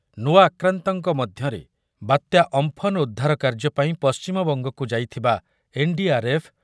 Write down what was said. ନୂଆ ଆକ୍ରାନ୍ତଙ୍କ ମଧ୍ୟରେ ବାତ୍ୟା ଅମ୍ପନ ଉଦ୍ଧାର କାର୍ଯ୍ୟପାଇଁ ପଶ୍ଚିମବଙ୍ଗକୁ ଯାଇଥିବା ଏନ୍ ଡି ଆର୍ ଏଫ୍,